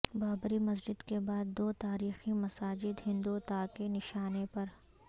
بابری مسجد کے بعد دو تاریخی مساجد ہندوتا کے نشانے پر